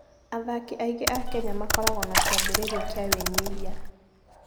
Athaki aingĩ a Kenya makoragwo na kĩambĩrĩria kĩa wĩnyihia.